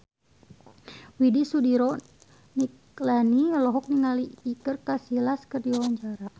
Widy Soediro Nichlany olohok ningali Iker Casillas keur diwawancara